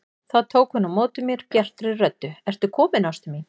Þá tók hún á móti mér bjartri röddu: Ertu kominn ástin mín!